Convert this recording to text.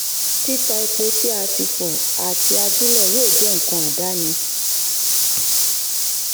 títà epo tí a ti fọ àti ajílẹ̀ yóò jẹ́ nǹkan àdáni.